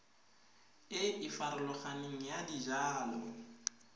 e e farologaneng ya dijalo